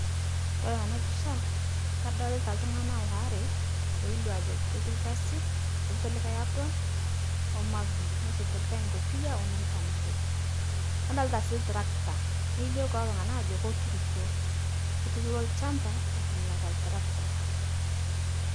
Kore tana pisha kadolita ltung'ana oare, loilio aajo ketii lkasi eishopito likae apron o mavin ,neishopito likae nkopiyia o nankan ake. Nadolita sii ltrakata neilio kulo tung'ana ajo kotursho, ketuturo lchamba eitumiarita ltrakta.